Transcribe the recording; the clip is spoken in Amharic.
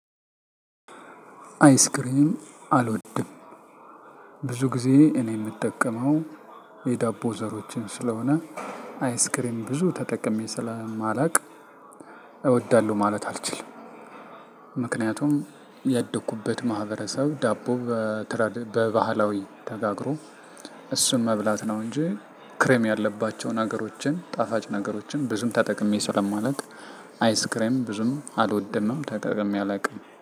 አይስክሬም አልወድም ብዙ ግዜ እኔ እኔ የምጠቀመው የዳቦ ዘሮችን ስለሆነ አይስክሬም ብዙ ተጠቅሜ ስለማላውቅ እወዳለሁ ማለት አልችልም። ምክንያቱም ያደኩበት ማህበረሰብ ዳቦ በባህላዊ ተጋግሮ እሱን መብላት ነው። እንጂ ክሬም ያለባቸውን ነገሮችን ጣፋጭ ነገሮችን ብዙም ተጠቅሜ ስለማላውቅ አይስ ክሬም ብዙም አልወደንም ተጠቅሜ አላውቅም።